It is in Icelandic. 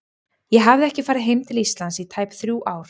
Ég hafði ekki farið heim til Íslands í tæp þrjú ár.